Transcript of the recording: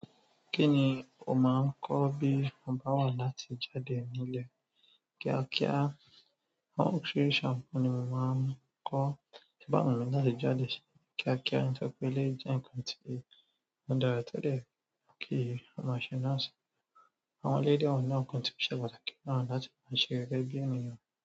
Kí ni o máa ń kọ́ bí bá wà láti jáde ní ilẹ̀ kíákíá? Oríṣiríṣi àwọn nkan ni mo ma n ko ti o ba bá wù mí láti jáde kíákíá nítorí pé eleyi jẹ nǹkan tí ó dára tio de ye kí o ma ṣẹ náà. Àwọn eleyi na de wa nínú nkan ti o ṣe pàtàkì láti ma ṣe náà gẹgẹbi ènìyàn.